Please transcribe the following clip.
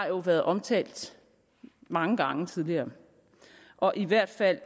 jo blevet omtalt mange gange tidligere og i hvert fald